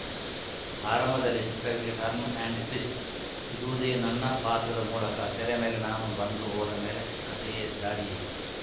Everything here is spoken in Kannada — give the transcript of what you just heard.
ಆರಂಭದಲ್ಲಿ ಚಿತ್ರರಿಗೆ ಟರ್ನ್‌ ಆ್ಯಂಡ್‌ ಟ್ವಿಸ್ಟ್‌ ಸಿಗುವುದೇ ನನ್ನ ಪಾತ್ರದ ಮೂಲಕ ತೆರೆ ಮೇಲೆ ನಾನು ಬಂದು ಹೋದ ಮೇಲೆ ಕತೆಯೇ ದಾರಿಯೇ